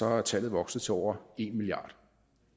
er tallet vokset til over en milliard